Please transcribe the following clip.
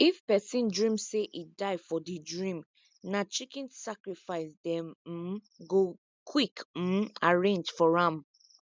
if person dream say e die for the dream na chicken sacrifice dem um go quick um arrange for am